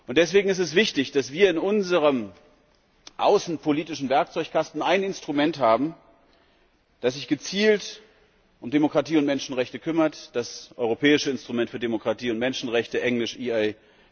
Deswegen ist es wichtig, dass wir in unserem außenpolitischen Werkzeugkasten ein Instrument haben, das sich gezielt um Demokratie und Menschenrechte kümmert, das europäische Instrument für Demokratie und Menschenrechte, englisch EIDHR.